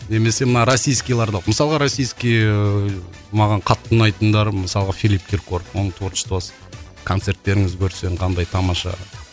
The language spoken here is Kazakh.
немесе мына российскийларды мысалға российский ыыы маған қатты ұнайтындары мысалға филипп киркоров оның творчествасы концерттеріңіз көрсең қандай тамаша